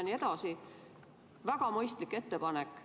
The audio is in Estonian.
See oli väga mõistlik ettepanek.